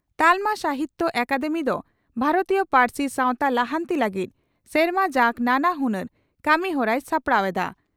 ᱛᱟᱞᱢᱟ ᱥᱟᱦᱤᱛᱭᱚ ᱟᱠᱟᱫᱮᱢᱤ ᱫᱚ ᱵᱷᱟᱨᱚᱛᱤᱭᱚ ᱯᱟᱹᱨᱥᱤ ᱥᱟᱶᱛᱟ ᱞᱟᱦᱟᱱᱛᱤ ᱞᱟᱹᱜᱤᱫ ᱥᱮᱨᱢᱟ ᱡᱟᱠ ᱱᱟᱱᱟ ᱦᱩᱱᱟᱹᱨ ᱠᱟᱹᱢᱤᱦᱚᱨᱟᱭ ᱥᱟᱯᱲᱟᱣ ᱮᱫᱼᱟ ᱾